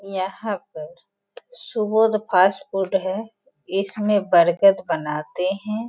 यहाँ पर सुबोध फास्टफूड हैं। इसमें बर्गद बनाते हैं।